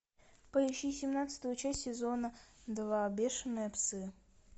поищи семнадцатую часть сезона два бешеные псы